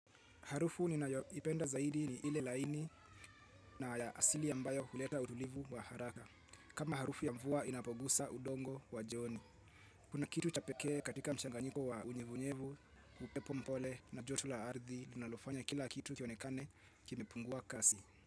Harufu ninayoipenda zaidi ni ile laini na ya asili ambayo huleta utulivu wa haraka. Kama harufu ya mvua inapogusa udongo wa joni. Kuna kitu cha pekee katika mchanganyiko wa unyevunyevu, upepo mpole na joto la ardhi, linalofanya kila kitu kionekane kimepungua kasi.